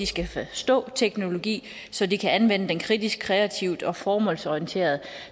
skal forstå teknologi så de kan anvende den kritisk kreativt og formålsorienteret